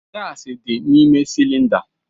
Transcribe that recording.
Gasi dị n'ime cylinder.